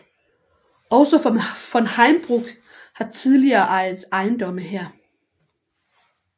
Også von Heimbruch har tidligere ejet ejendomme her